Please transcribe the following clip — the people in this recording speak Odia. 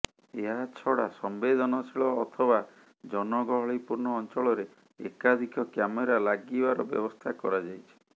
ଏହାଛଡ଼ା ସମ୍ବେଦନଶୀଳ ଅଥବା ଜନଗହଳିପୂର୍ଣ୍ଣ ଅଞ୍ଚଳରେ ଏକାଧିକ କ୍ୟାମେରା ଲାଗିବାର ବ୍ୟବସ୍ଥା କରାଯାଇଛି